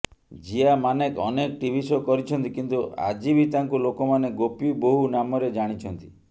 ଜିୟା ମାନେକ୍ ଅନେକ TV show କରିଛନ୍ତି କିନ୍ତୁ ଆଜିବି ତାଙ୍କୁ ଲୋକମାନେ ଗୋପୀ ବୋହୁ ନାମରେ ଜାଣିଛନ୍ତି